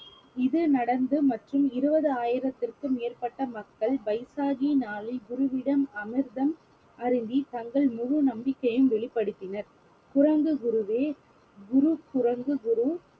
இது நடந்து மற்றும் இருவது ஆயிரத்திற்கு மேற்பட்ட மக்கள் பைசாகி நாளில் குருவிடம் அமிர்தம் அருந்தி தங்கள் முழு நம்பிக்கையும் வெளிப்படுத்தினர்